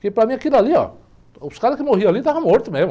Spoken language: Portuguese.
Porque para mim aquilo ali, óh, os caras que morriam ali estavam mortos mesmo.